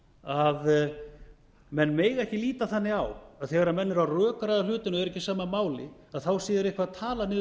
að menn mega ekki líta þannig á að þegar menn eru að rökræða hlutina og eru ekki á sama máli að þá séu þeir eitthvað að tala